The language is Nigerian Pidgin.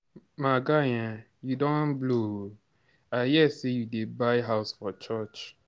My guy, you don blow oo, I hear say you dey build house for church.